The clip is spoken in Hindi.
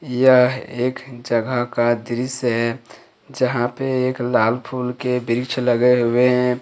यह एक जगह का दृश्य है जहां पे एक लाल फूल के वृक्ष लगे हुए हैं।